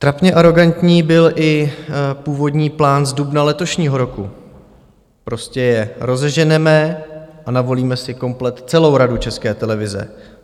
Trapně arogantní byl i původní plán z dubna letošního roku: prostě je rozeženeme a navolíme si komplet celou Radu České televize.